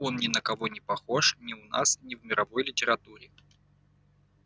он ни на кого не похож ни у нас ни в мировой литературе